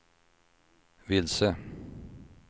vilse